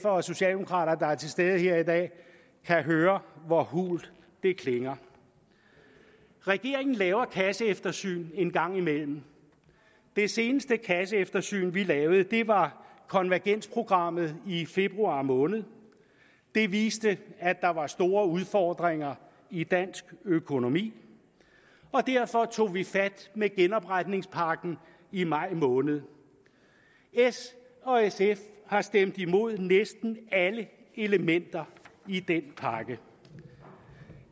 og socialdemokrater der er til stede her i dag kan høre hvor hult det klinger regeringen laver et kasseeftersyn en gang imellem det seneste kasseeftersyn vi lavede var konvergensprogrammet i februar måned det viste at der var store udfordringer i dansk økonomi og derfor tog vi fat med genopretningspakken i maj måned s og sf har stemt imod næsten alle elementer i den pakke